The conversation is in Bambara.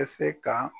Tɛ se ka